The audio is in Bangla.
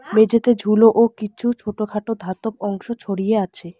মেঝেতে ঝুলো ও কিছু ছোটখাটো ধাতব অংশ ছড়িয়ে আছে।